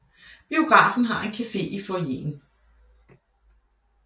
Biografen har en café i foyeren